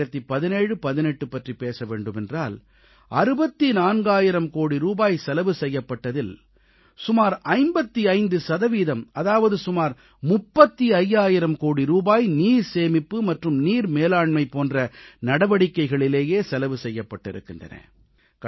201718 பற்றிப் பேச வேண்டுமென்றால் 64000 கோடி ரூபாய் செலவு செய்யப்பட்டதில் சுமார் 55 சதவீதம் அதாவது சுமார் 35000 கோடி ரூபாய் நீர்சேமிப்பு மற்றும் நீர் மேலாண்மை போன்ற நடவடிக்கைகளிலேயே செலவு செய்யப்பட்டிருக்கின்றன